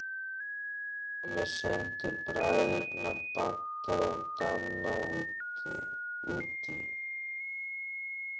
Tommi sendi bræðurna Badda og Danna útí